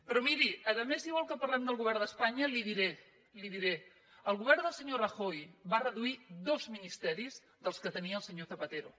però miri a més si vol que parlem del govern d’espanya li ho diré el govern del senyor rajoy va reduir dos ministeris dels que tenia el senyor zapatero